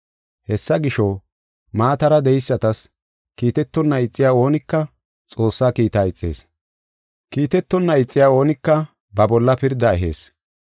Hessa gisho, maatara de7eysatas kiitetonna ixiya oonika Xoossaa kiitaa ixees. Kiitetonna ixiya oonika ba bolla pirdaa ehees.